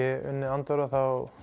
Andorra þá